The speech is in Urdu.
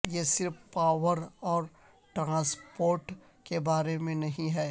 یہ صرف پاور اور ٹرانسپورٹ کے بارے میں نہیں ہے